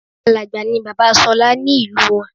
Àlágbáà ni bàbá Ṣọlá ní ìlú wọn